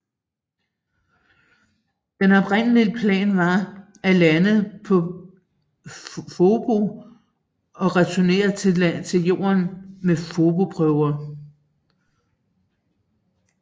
Den oprindelige plan var at lande på Phobos og returnere til Jorden med phobosprøver